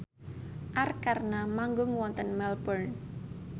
Arkarna manggung wonten Melbourne